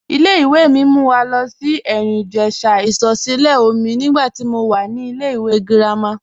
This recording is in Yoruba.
Ìlẹ̀-ìwé̀ mi mú wà lo sí Erin-Ijesha isọ̀sílẹ̀ọ̀mí nígbà tí mó wà ní ìlẹ̀-ìwé̀ gírámà.